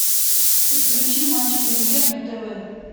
подключи матч премьер на тв